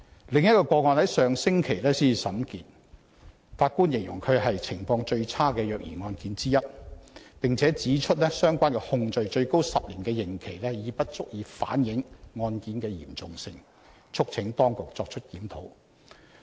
另一宗個案剛於上星期才審結，法官形容它是"情況最差的虐兒案件之一"，並指出相關控罪最高10年刑期已不足以反映該案件的嚴重性，促請當局作出檢討。